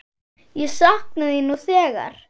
Ég sakna þín nú þegar.